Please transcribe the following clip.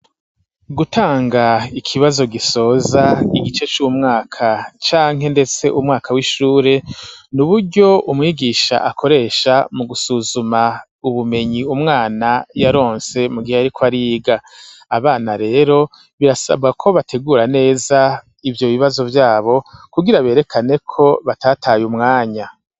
Gutanga ikibazo gisoza igice c'umwaka canke, ndetse umwaka w'ishure ni uburyo umwigisha akoresha mu gusuzuma ubumenyi umwana yaronse mu gihe ari ko ariga abana rero birasaba ko bategura neza ivyo bibazo vyabo ugira berekane ko batataye umwanya.